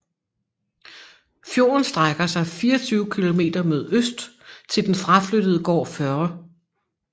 Fjorden strækker sig 24 km mod øst til den fraflyttede gård Førre